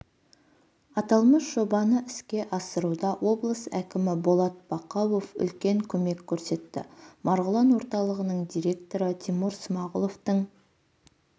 аталмыш жобаны іске асыруда облыс әкімі болат бақауов үлкен көмек көрсетті марғұлан орталығының директоры тимур смағұловтың